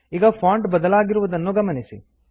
ಈಗ ಫಾಂಟ್ ಬದಲಾಗಿರುವುದನ್ನು ಗಮನಿಸಿ